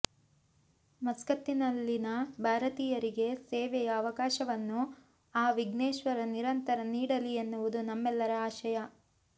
ಮಸ್ಕತ್ತಿನಲ್ಲಿನ ಭಾರತೀಯರಿಗೆ ಸೇವೆಯ ಅವಕಾಶವನ್ನು ಆ ವಿಘ್ನೇಶ್ವರ ನಿರಂತರ ನೀಡಲಿ ಎನ್ನುವುದು ನಮ್ಮೆಲ್ಲರ ಆಶಯ